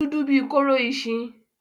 Ó dúdú bí kóró ìṣìnà.